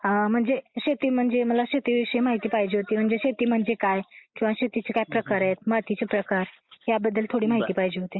म्हणजे शेती म्हणजे मला शेती बद्दल माहिती पाहिजे होती शेती विषयी माहिती पाहिजे होती म्हणजे शेती म्हणजे काय किंवा शेतीचे काय प्रकार आहे मातीचे प्रकार याबद्दल थोडी माहिती पाहिजे होती.